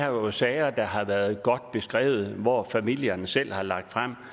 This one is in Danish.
jo sager der har været godt beskrevet og som familierne selv har lagt frem